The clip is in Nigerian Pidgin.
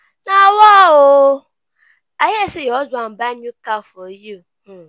nawa oo! i hear say your husband buy new car for you